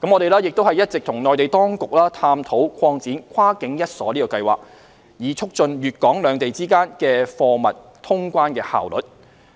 我們亦一直與內地當局探討擴展"跨境一鎖計劃"，以促進粵港兩地之間的貨物通關效率。